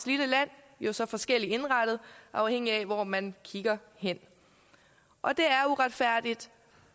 lille land jo så forskelligt indrettet afhængigt af hvor man kigger hen og det er uretfærdigt